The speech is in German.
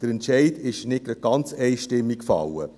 Der Entscheid ist nicht ganz einstimmig gefallen.